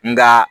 Nka